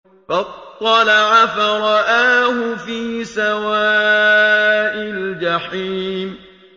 فَاطَّلَعَ فَرَآهُ فِي سَوَاءِ الْجَحِيمِ